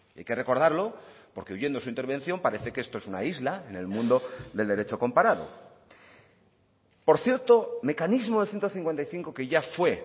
hay que recordarlo porque oyendo su intervención parece que esto es una isla en el mundo del derecho comparado por cierto mecanismo del ciento cincuenta y cinco que ya fue